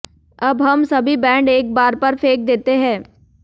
अब हम सभी बैंड एक बार पर फेंक देते हैं